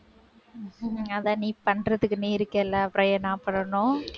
அதான் நீ பண்றதுக்கு நீ இருக்கல அப்பறம் ஏன் நான் பண்ணனும்